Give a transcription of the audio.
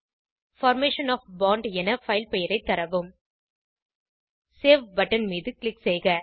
formation of bond என file பெயரைத் தரவும் சேவ் பட்டன் மீது க்ளிக் செய்க